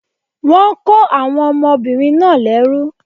Wọ́n kó àwọn ọmọbìnrin náà lẹ́rú